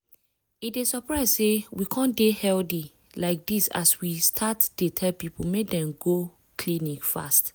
e dey surprise say we come dey healthy like this as we start dey tell people make dem go clinic fast.